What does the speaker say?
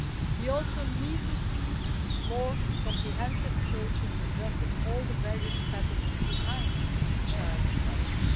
We also need to see more comprehensive approaches, addressing all the various patterns behind child marriage.